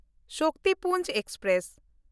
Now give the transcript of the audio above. Shaktipunj express